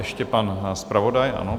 Ještě pan zpravodaj, ano.